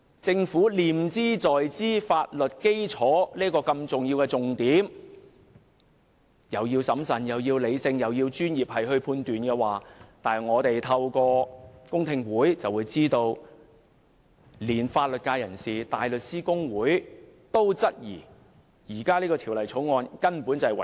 政府不斷強調這項重要的法律基礎，要求議員審慎、理性作出專業判斷，但我們透過公聽會得知，連法律界人士、香港大律師公會也質疑《條例草案》違反《基本法》第十八條。